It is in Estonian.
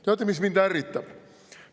Teate, mis mind ärritab?